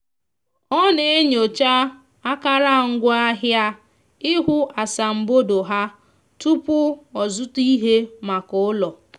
ọ na-enyocha akara ngwa ahia ihu asambodo ha tụpụ ọzụta ihe maka ụlọ